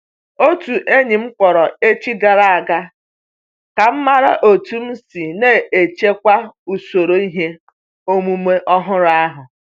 Otu enyi m kpọrọ echi gara a ga ka ọ mara otu m si n'ejikwa usoro ihe omume ọhụrụ ahụ.